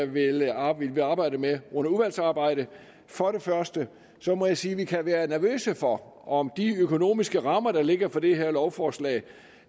vil arbejde arbejde med under udvalgsarbejdet for det første må jeg sige at vi kan være nervøse for om de økonomiske rammer der ligger for det her lovforslag